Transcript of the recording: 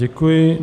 Děkuji.